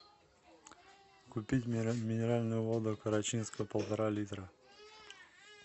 купить минеральную воду карачинская полтора литра